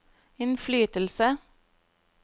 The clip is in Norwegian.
innflytelse